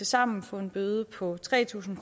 samlet få en bøde på tre tusind